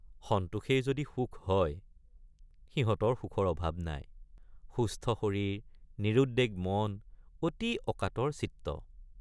সন্তোষেই যদি সুখ হয় সিহঁতৰ সুখৰ অভাৱ নাই ৷ সুস্থ শৰীৰ নিৰুদ্বেগ মন অতি অকাতৰ চিত্ত।